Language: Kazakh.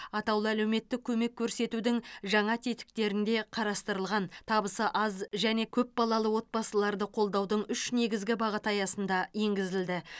атаулы әлеуметтік көмек көрсетудің жаңа тетіктерінде қарастырылған табысы аз және көпбалалы отбасыларды қолдаудың үш негізгі бағыты аясында енгізілді